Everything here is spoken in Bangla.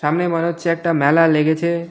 সামনে মনে হচ্ছে একটা মেলা লেগেছে।